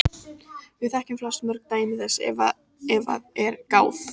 Við þekkjum flest mörg dæmi þess ef að er gáð.